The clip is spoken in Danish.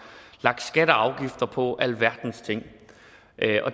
lagt skatter og afgifter på alverdens ting